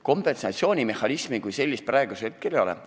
Kompensatsioonimehhanismi kui sellist praegu ei ole.